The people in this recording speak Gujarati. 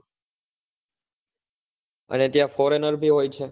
અને ત્યાં foreigner ભી હોય છે?